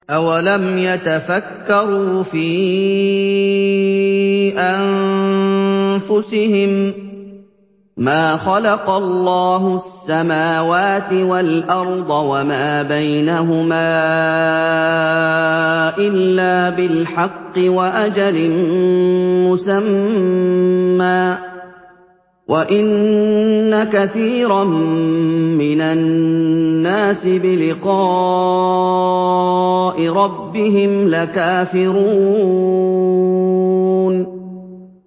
أَوَلَمْ يَتَفَكَّرُوا فِي أَنفُسِهِم ۗ مَّا خَلَقَ اللَّهُ السَّمَاوَاتِ وَالْأَرْضَ وَمَا بَيْنَهُمَا إِلَّا بِالْحَقِّ وَأَجَلٍ مُّسَمًّى ۗ وَإِنَّ كَثِيرًا مِّنَ النَّاسِ بِلِقَاءِ رَبِّهِمْ لَكَافِرُونَ